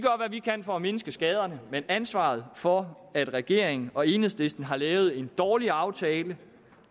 vi kan for at mindske skaderne men ansvaret for at regeringen og enhedslisten har lavet en dårlig aftale